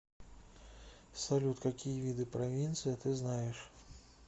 салют какие виды провинция ты знаешь